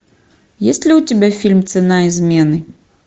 есть ли у тебя фильм цена измены